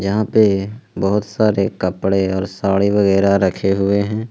यहां पे बहुत सारे कपड़े और साड़ी वगैरा रखे हुए हैं।